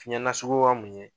Fiɲɛ nasuguya mun ye